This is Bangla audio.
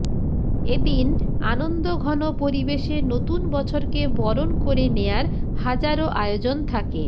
এদিন আনন্দঘন পরিবেশে নতুন বছরকে বরণ করে নেয়ার হাজারো আয়োজন থাকে